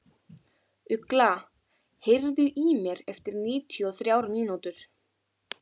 Ugla, heyrðu í mér eftir níutíu og þrjár mínútur.